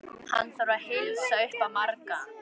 Hann þarf að heilsa upp á marga.